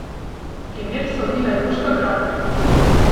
Primer so vina Joška Gravnerja.